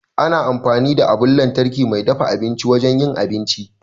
Ana amfani da abun lantarki mai dafa abinci wajen yin abinci.